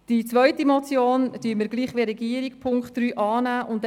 Wie die Regierung werden wir bei der zweiten Motion Punkt 3 annehmen.